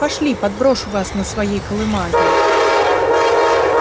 пошли подброшу вас на своей колымаге